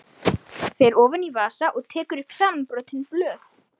Fer ofan í vasa og tekur upp samanbrotin blöð.